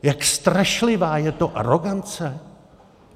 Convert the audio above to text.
Jak strašlivá je to arogance?